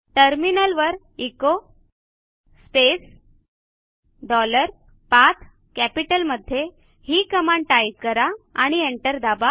टर्मिनलवर echo space dollar पाठ कॅपिटलमध्ये ही कमांड टाईप करा आणि एंटर दाबा